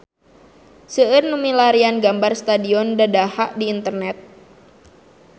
Seueur nu milarian gambar Stadion Dadaha di internet